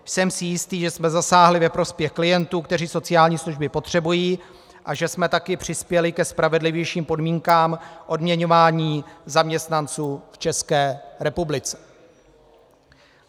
Jsem si jistý, že jsme zasáhli ve prospěch klientů, kteří sociální služby potřebují, a že jsme také přispěli ke spravedlivějším podmínkám odměňování zaměstnanců v České republice.